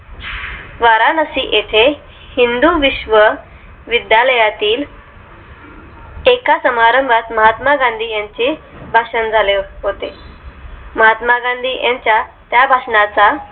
वाराणसी येथे हिंदू विश्व विद्यालया तील एका समारंभात महात्मा गांधी यांचे भाषण झाले होते महात्मा गांधी यांच्या त्या भाषणा चा